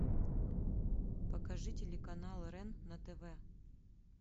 покажи телеканал рен на тв